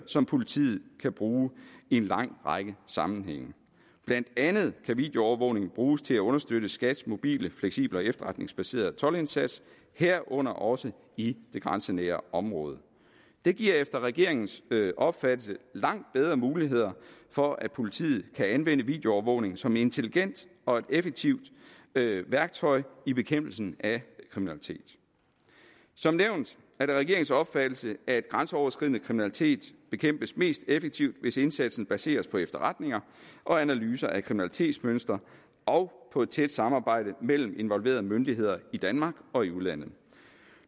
som politiet kan bruge i en lang række sammenhænge blandt andet kan videoovervågning bruges til at understøtte skats mobile fleksible og efterretningsbaserede toldindsats herunder også i det grænsenære område det giver efter regeringens opfattelse langt bedre muligheder for at politiet kan anvende videoovervågning som et intelligent og effektivt værktøj i bekæmpelsen af kriminalitet som nævnt er det regeringens opfattelse at grænseoverskridende kriminalitet bekæmpes mest effektivt hvis indsatsen baseres på efterretninger og analyser af kriminalitetsmønstre og på et tæt samarbejde mellem involverede myndigheder i danmark og i udlandet